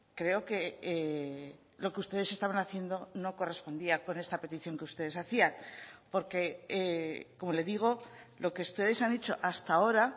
creo que lo que ustedes estaban haciendo no correspondía con esta petición que ustedes hacían porque como le digo lo que ustedes han hecho hasta ahora